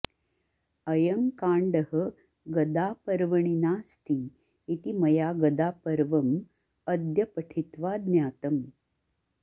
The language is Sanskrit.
अयं काण्डः गदापर्वणि नास्ति इति मया गदापर्वम् अद्य पठित्वा ज्ञातम्